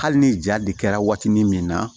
Hali ni ja de kɛra watinin min na